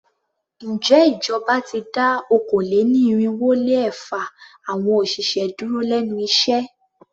Ǹjẹ́ ìjọba ti dá okòó-lé-ní-irínwó-lé-ẹ̀fa awọn òṣìṣẹ́ dúró lénu iṣẹ́?